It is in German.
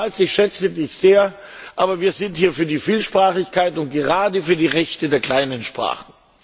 Lieber Charles, ich schätze Dich sehr, aber wir sind hier für die Vielsprachigkeit und gerade für die Rechte der kleinen Sprachen.